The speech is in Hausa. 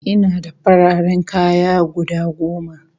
Ina da fararen kaya guda goma